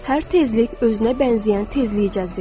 Hər tezlik özünə bənzəyən tezliyi cəzb edir.